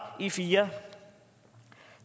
i fjerde